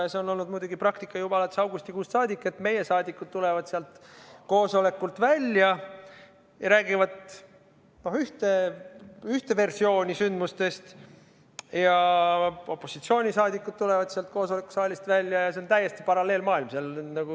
Ja selline praktika on muidugi olnud juba augustikuust saadik, et meie saadikud tulevad sealt koosolekult välja ja räägivad ühte versiooni sündinust, aga opositsioonisaadikud tulevad sealt koosolekusaalist välja, ja tundub, et seal on olnud täiesti paralleelmaailm.